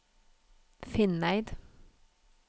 Finneid